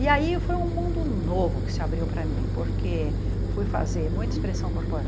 E aí foi um mundo novo que se abriu para mim, porque fui fazer muita expressão